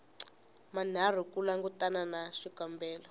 manharhu ku langutana na xikombelo